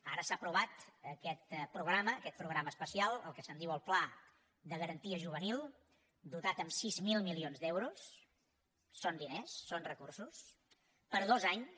ara s’ha aprovat aquest programa aquest programa especial el que se’n diu el pla de garantia juvenil dotat amb sis mil milions d’euros són diners són recursos per dos anys